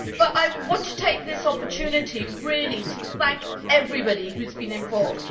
I want to take this opportunity to thank everybody who has been involved.